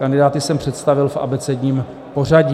Kandidáty jsem představil v abecedním pořadí.